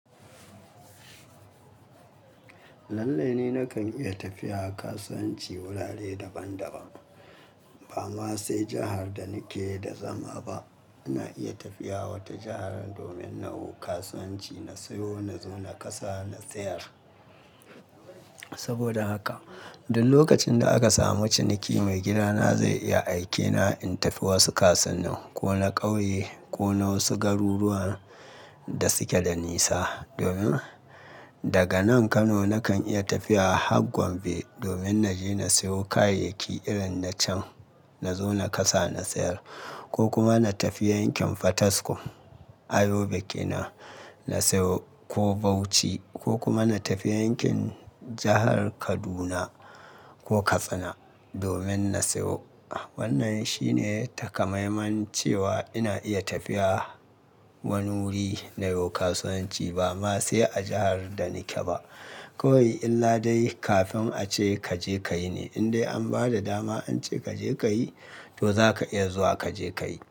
Lallai ni nakan iya tafiya kasuwanci wurare daban-daban ba ma sai jihar da nike da zama ba. Ina iya tafiya wata jihar domin nawo kasuwanci, na siyo, na zo na kasa, na sayar. Saboda haka duk lokacin da aka samu ciniki maigidana zai iya aikena in tafi wasu kasuwannin, ko na ƙauye ko na wasu garuruwan da suke da nisa. Domin daga nan Kano nakan iya tafiya har gombe domin naje na siyo kayayyaki irin na can na zo na kasa na sayar ko kuma na tafi yankin Fataskum, a Yobe kenan, na siyo ko Bauchi ko kuma na tafi yankin jahar Kaduna ko Katsina domin na siyo. Wannan shine takamaiman cewa ina iya tafiya wani wuri nayo kasuwanci ba ma sai a jahar da nike ba. Kowai illa dai kafin ace kaje ka yi ne. In dai an ba da dama ance kaje ka yi to zaka iya zuwa kaje ka yi.